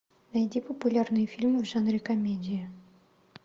найди популярные фильмы в жанре комедия